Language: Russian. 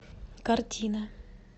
картина